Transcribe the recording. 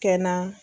Kɛ na